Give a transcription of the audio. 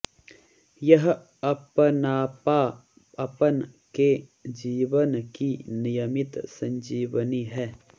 यह अपनापा अपन के जीवन की नियमित संजीवनी है